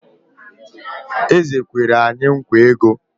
Eze kwere anyị nkwa ego